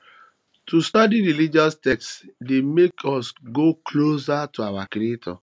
to study religious text de make us go closer to our creator